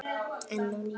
Enn á ný